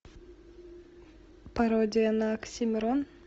пародия на оксимирон